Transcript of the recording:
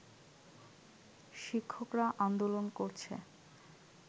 শিক্ষকরা আন্দোলন করছে